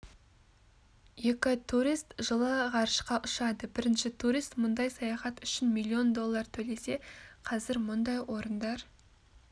екі турист жылы ғарышқа ұшады бірінші турист мұндай саяхат үшін миллион доллар төлесе қазір мұндай орындар